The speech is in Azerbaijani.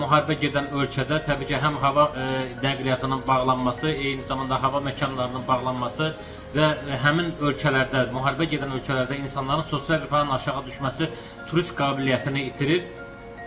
Müharibə gedən ölkədə təbii ki, həm hava nəqliyyatının bağlanması, eyni zamanda hava məkanlarının bağlanması və həmin ölkələrdə, müharibə gedən ölkələrdə insanların sosial rifahının aşağı düşməsi turist qabiliyyətini itirir.